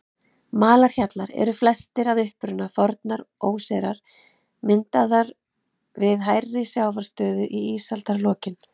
Malarhjallar eru flestir að uppruna fornar óseyrar, myndaðir við hærri sjávarstöðu í ísaldarlokin.